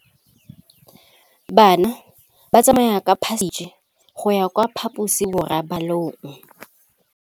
Bana ba tsamaya ka phašitshe go ya kwa phaposiborobalong.